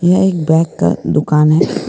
यह एक बैंग का दुकान है।